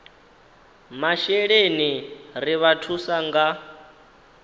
masheleni ri vha thusa nga